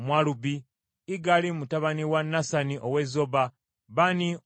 Igali mutabani wa Nasani ow’e Zoba, Bani Omugaadi,